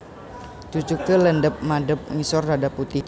Cucuke landhep madhep ngisor rada putih